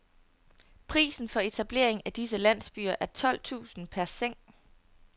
Prisen for etablering af disse landsbyer er tolv tusind per seng.